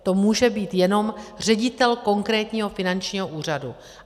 To může být jenom ředitel konkrétního finančního úřadu.